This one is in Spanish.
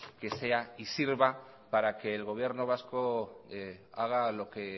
que sea y sirva para que el gobierno vasco haga lo que